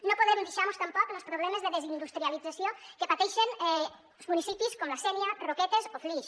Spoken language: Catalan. no podem deixar·mos tampoc los problemes de desindustrialització que pateixen municipis com la sénia roquetes o flix